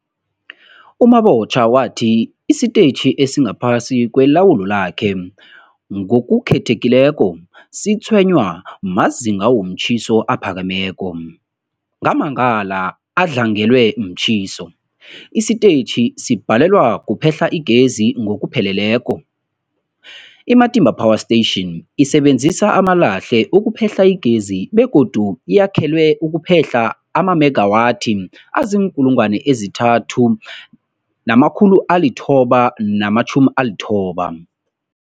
U-Mabotja wathi isitetjhi esingaphasi kwelawulo lakhe, ngokukhethekileko, sitshwenywa mazinga womtjhiso aphakemeko. Ngamalanga adlangelwe mtjhiso, isitetjhi sibhalelwa kuphehla igezi ngokupheleleko. I-Matimba Power Station isebenzisa amalahle ukuphehla igezi begodu yakhelwe ukuphehla amamegawathi azii-3990